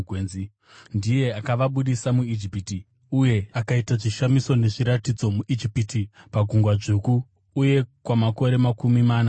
Ndiye akavabudisa muIjipiti uye akaita zvishamiso nezviratidzo muIjipiti, paGungwa Dzvuku uye kwamakore makumi mana murenje.